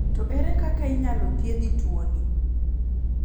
To ere kaka inyalo thiedhi tuo ni.